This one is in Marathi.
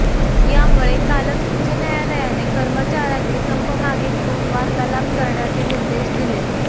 यामुळे कालच उच्च न्यायालयाने कर्मचार्यांनी संप मागे घेऊन वार्तालाप करण्याचे निर्देश दिले